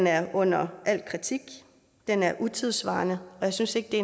er under al kritik den er utidssvarende og jeg synes ikke